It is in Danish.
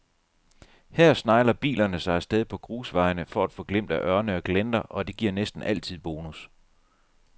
Her snegler bilerne sig af sted på grusvejene for at få glimt at ørne og glenter, og det giver næsten altid bonus.